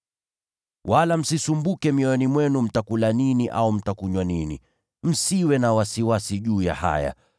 Wala msisumbuke mioyoni mwenu mtakula nini au mtakunywa nini. Msiwe na wasiwasi juu ya haya.